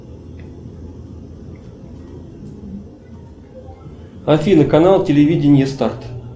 афина канал телевидение старт